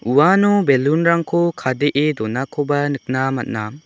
uano belun rangko kadee donakoba nikna man·a.